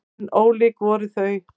En ólík voru þau.